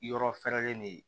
Yɔrɔ fɛrɛlen de ye